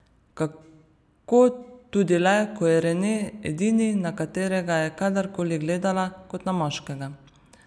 Kako tudi le, ko je Rene edini, na katerega je kadar koli gledala kot na moškega.